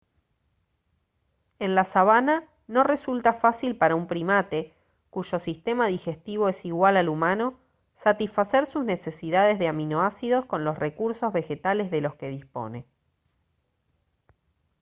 en la sabana no resulta fácil para un primate cuyo sistema digestivo es igual al humano satisfacer sus necesidades de aminoácidos con los recursos vegetales de los que dispone